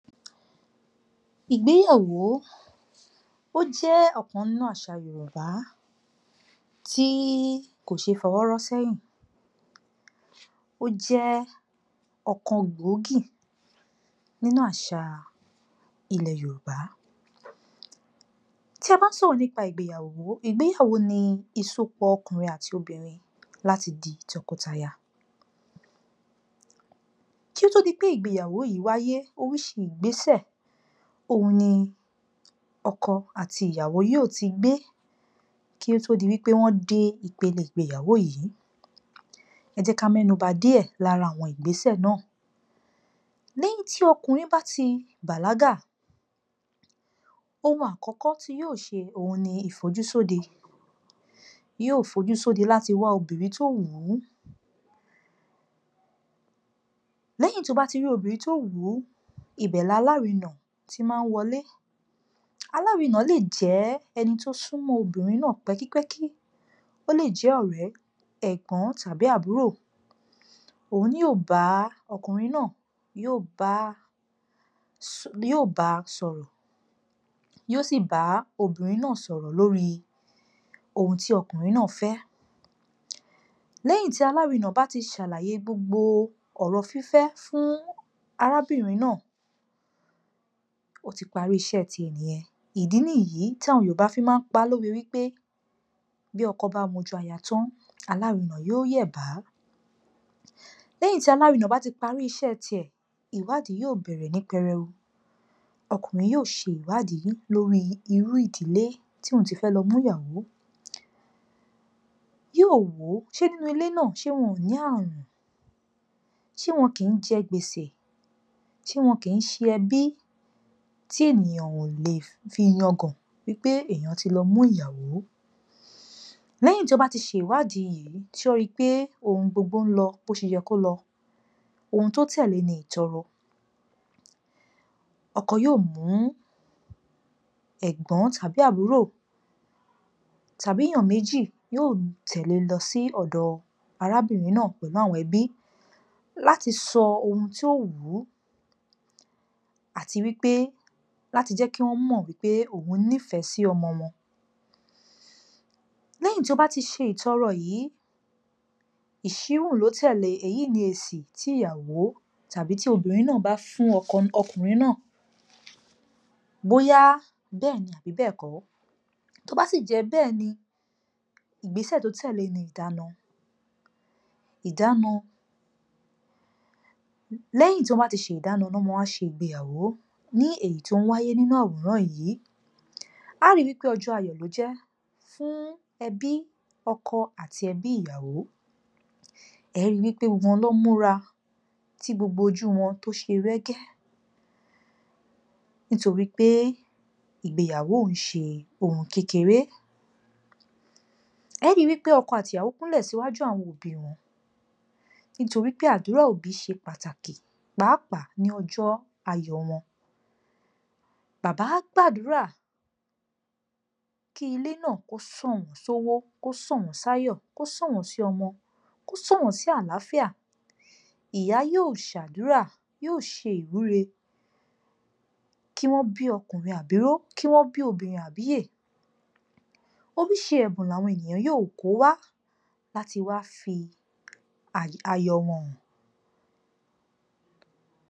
Ìgbéyàwó, ó jẹ́ ọ̀kan nínú àṣà Yorùbá tí kò ṣe é fọwọ́ rọ́ sẹ́yìn, ó jẹ́ ọ̀kan gbòógì nínú àṣà ilẹ̀ Yorùbá. Tí a bá ń sọ̀rọ̀ nípa ìgbéyàwó, ìgbéyàwó ni ìsopọ̀ ọkùnrin àti obìnrin láti di tọkọtaya, kí ó tó di pé ìgbéyàwó yìí wáyé, oríṣi ìgbésẹ̀ òhun ni ọkọ àti ìyàwó yóò ti gbé kí ó tó di wípé wọ́n dé ipele ìgbéyàwó yìí. Ẹ jẹ́ ká mẹ́nuba díẹ̀ lára àwọn ìgbésẹ̀ náà. Ní tí ọkùnrin bá ti bàlágà, ohun àkọ́kọ́ tí yóò ṣe, òhun ni ìfojúsóde, yóò fojúsóde láti wá obìnrin tó wù ún, lẹ́yìn tó bá ti rí obìnrin tó wù ún, ibẹ̀ lalárinà ti máa ń wọlé, alárinà lè jẹ́ ẹni tó súnmọ́ obìnrin náà pẹ́kípẹ́kí, ó lè jẹ́ ọ̀rẹ́, ẹ̀gbọ́n tàbí àbúrò, òun ni yóò bá ọkùnrin náà, yóò bá sọ̀rọ̀, yóò sì bá obìnrin náà sọ̀rọ̀ lórí ohun tí ọkùnrin náà fẹ́. Lẹ́yìn tí alárinà bá ti ṣàlàyé gbogbo ọ̀rọ̀ fífẹ́ fún arábìnrin náà, ó ti parí iṣẹ́ ti ẹ̀ nìyẹn. Ìdí nìyí tí àwọn Yorùbá fi máa ń pa á lówe wípé, bí ọkọ bá mojú aya tán alárinà yóò yẹ̀bá. Lẹ́yìn tí alárinà bá ti parí iṣẹ́ ti ẹ̀, ìwádìí yóò bẹ̀rẹ̀ ní pẹrẹu. Ọkùnrin yóò ṣe ìwádìí lórí irú ìdílé tí òun ti fẹ́ lọ mú ìyàwó, yóò wò ó, ṣé nínú ilé náà, ṣé wọn ò ní àrùn, ṣé wọn kì í jẹ gbèsè, ṣé wọn kìí śe ẹbí tí ènìyàn ò lè fi yangàn wípé èèyàn ti lọ mú ìyàwó. Lẹ́yìn tó bá ti ṣe ìwádìí yìí tó ri pé ohun gbogbo ń lọ bó ṣe yẹ kó lọ, ohun tó tẹ̀le ni ìtọrọ. Ọkọ yóò mú ẹ̀gbọ́n tàbí àbúrò tàbí èèyàn méjì, yóò tẹ̀le lọ sí ọ̀dọ̀ arábìnrin náà pẹ̀lú àwọn ẹbí láti sọ ohun tó wù ú, àti wípé láti jẹ́ kí wọ́n mọ̀ wípé òun nífẹ̀ẹ́ sí ọmọ wọn. Lẹ́yìn tí ó bá ti ṣe ìtọrọ yìí, ìṣíhùn ló tẹ̀lé e, èyí ni èsì tí ìyàwó tàbí tí obìnrin náà bá fún ọkọ, ọkùnrin náà, bóyá bẹ́ẹ̀ni àbí bẹ́ẹ̀kọ́, tó bá sì jẹ́ bẹ́ẹ̀ni, ìgbésẹ̀ tó tẹ̀lé ni ìdána. Ìdána, lẹ́yìn tí wọ́n bá ti ṣe ìdána ná má wá ṣe ìgbéyàwó, ní èyí tó wáyé nínú àwòrán yìí. À á ri wípé ọjọ́ ayọ̀ ló jẹ́ fún ẹbí ọkọ àti ẹbí ìyàwó, ẹ ri wípé gbogbo wọ́n ló múra, tí gbogbo ojú wọn tó ṣe rẹ́gí, nítorí pé ìgbéyàwó ò ń ṣe ohun kékeré. E ó ri wípé ọkọ àti ìyàwó kúnlẹ̀ síwájú àwọn òbí wọn, nítorí pé àdúrà òbí ṣe pàtàkì pàápàá ní ojọ́ ayọ̀ wọn. Bàbá á gbàdúrà kí ilè náà kó sàn wọ́n sówó, kó sàn wọ́n sáyọ̀, kó sàn wọ́n sí ọmọ, kó sàn wọ́n sí àlááfíà, ìyá yóò ṣàdúrà, yóò ṣe ìwúre kí wọ́n bí ọkùnrin àbíró, kí wọ́n bí obìnrin àbíyè, oríṣi ẹ̀bùn làwọn ènìyàn yóò kó wá, láti wá fi ayọ̀ wọn hàn.